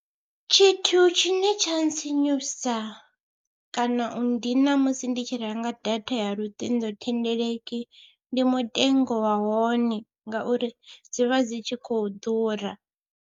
Tshithu tshine tsha ntsinyusa kana u ndina musi ndi tshi renga data ya luṱingothendeleki ndi mutengo wa hone, ngauri dzi vha dzi tshi khou ḓura.